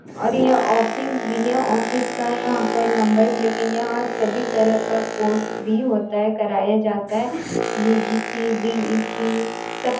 और यह ऑफिस भी है ऑफिस का यहाँ पर नंबर भी लिखा यहाँ सभी तरह का कोर्स भी होता है कराया जाता है यू.जी.सी. डी.ई.सी. सब --